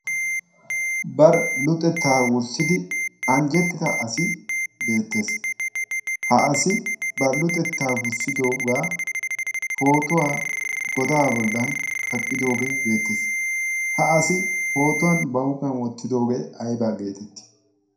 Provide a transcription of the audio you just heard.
bar luxettaa wurssidi anjjettida asi beettees. ha asi baluxettaa wurssidoogaa pootuwaa godaa bollan kaqqidoogee beettees. ha asi pootuwan ba huuphiyan wottidoogee aibaa geetettii?